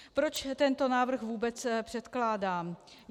Proč tento návrh vůbec předkládám?